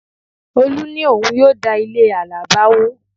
Olú ní òun yóò da ilé àlàbá wó